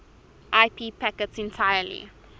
ip packets entirely